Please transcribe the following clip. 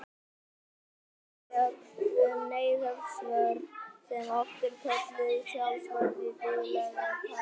Til eru lög um neyðarvörn sem oft er kölluð sjálfsvörn í daglegu tali.